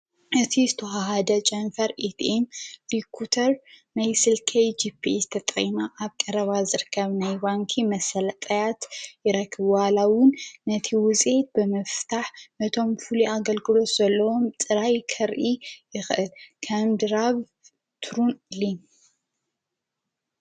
እቲ ዝተሃሃደ ጨንፈር ኢቲም ሊኩተር መይስልከይ ጊጲ ዝተጠይማ ኣብ ቀረባ ዘርካብ ናይዋንኪ መሠለጠያት ይረክብሃላዉን ነቲ ውዘየት ብመፍታሕ ነቶም ፍሉ ኣገልግሎት ዘለዎም ጽራይ ከርኢ ይኽእ ካምድራብ ትሩንሊን።